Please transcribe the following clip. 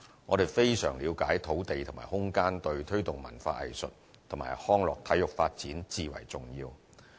我們非常了解土地和空間對推動文化藝術及康樂體育發展至為重要。